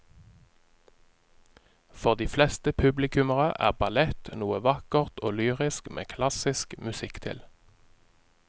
For de fleste publikummere er ballett noe vakkert og lyrisk med klassisk musikk til.